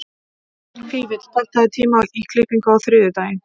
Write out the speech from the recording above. Fífill, pantaðu tíma í klippingu á þriðjudaginn.